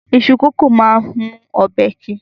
Iṣu kókò máa ń mú ọbẹ̀ ki